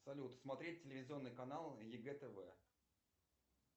салют смотреть телевизионный канал егэ тв